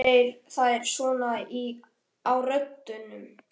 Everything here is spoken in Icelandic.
Eltu þeir þær svona á röndum?